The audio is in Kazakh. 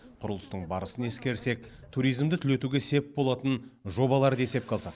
құрылыстың барысын ескерсек туризмді түлетуге сеп болатын жобаларды есепке алсақ